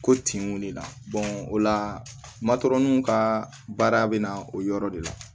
Ko tinw de la o la matɔronw ka baara bɛ na o yɔrɔ de la